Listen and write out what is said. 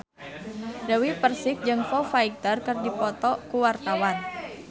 Dewi Persik jeung Foo Fighter keur dipoto ku wartawan